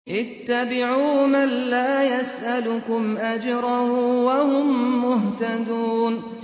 اتَّبِعُوا مَن لَّا يَسْأَلُكُمْ أَجْرًا وَهُم مُّهْتَدُونَ